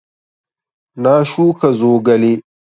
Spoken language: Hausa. Na shuka zogale